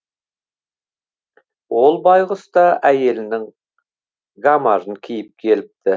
ол байғұс та әйелінің гамажын киіп келіпті